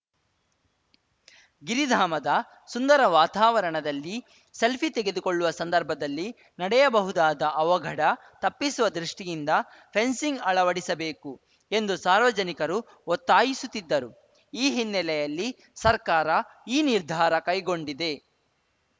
ಗಿರಿಧಾಮದ ಸುಂದರ ವಾತಾವರಣದಲ್ಲಿ ಸೆಲ್ಫಿ ತೆಗೆದುಕೊಳ್ಳುವ ಸಂದರ್ಭದಲ್ಲಿ ನಡೆಯಬಹುದಾದ ಅವಘಡ ತಪ್ಪಿಸುವ ದೃಷ್ಟಿಯಿಂದ ಫೆನ್ಸಿಂಗ್‌ ಅಳವಡಿಸಬೇಕು ಎಂದು ಸಾರ್ವಜನಿಕರು ಒತ್ತಾಯಿಸುತ್ತಿದ್ದರು ಈ ಹಿನ್ನೆಲೆಯಲ್ಲಿ ಸರ್ಕಾರ ಈ ನಿರ್ಧಾರ ಕೈಗೊಂಡಿದೆ